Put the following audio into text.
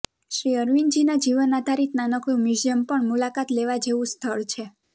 શ્રી અરવિંદજીના જીવન આધારિત નાનકડું મ્યુઝિયમ પણ મુલાકાત લેવા જેવું સ્થળ છે